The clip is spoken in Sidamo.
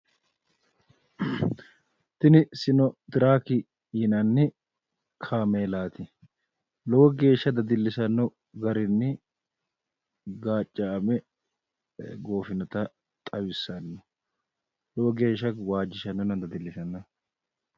Tini sinotiraaki yinanni kaameelaati. Lowo geeshsha dadillisanno garinni gaacca"ame goofinota xawissanno. Lowo geeshsha waajjishannonna dadillisanno.